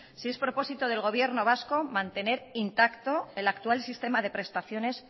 si es propósito del gobierno vasco mantener intacto el actual sistema de prestaciones